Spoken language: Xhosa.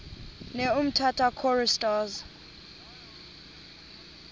ne umtata choristers